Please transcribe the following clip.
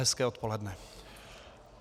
Hezké odpoledne.